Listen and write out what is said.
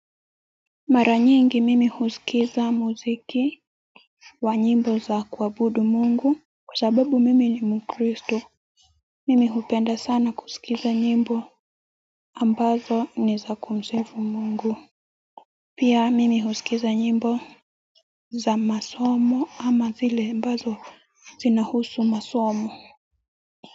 Mara nyingi mimi husikiza muziki wa nyimbo za kuabudu Mungu kwa sababu mimi ni mkristo mimi hupenda sana kusikiza nyimbo ambazo ni za kumsifu Mungu pia mimi husikiza nyimbo za masomo ama zile ambazo zinahusu masomo.